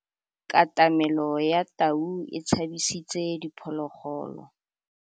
Katamêlô ya tau e tshabisitse diphôlôgôlô.